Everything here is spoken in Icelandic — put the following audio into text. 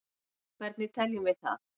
hvernig teljum við það